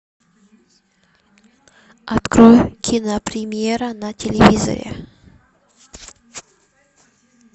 открой кинопремьера на телевизоре